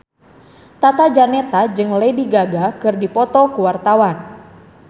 Tata Janeta jeung Lady Gaga keur dipoto ku wartawan